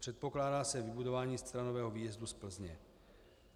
Předpokládá se vybudování staronového výjezdu z Plzně.